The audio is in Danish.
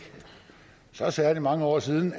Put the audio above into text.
så særlig mange år siden